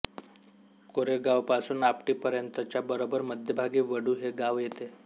कोरेगावपासून आपटीपर्यतच्या बरोबर मध्यभागी वढू हे गाव येते